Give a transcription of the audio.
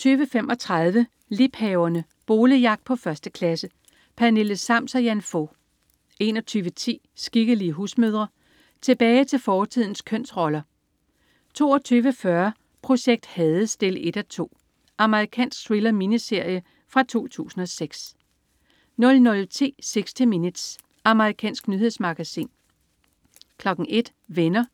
20.35 Liebhaverne. Boligjagt på 1. klasse. Pernille Sams og Jan Fog 21.10 Skikkelige husmødre. Tilbage til fortidens kønsroller! 22.40 Projekt Hades 1:2. Amerikansk thriller-miniserie fra 2006 00.10 60 Minutes. Amerikansk nyhedsmagasin 01.00 Venner.*